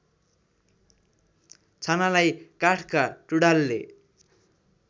छानालाई काठका टुँडालले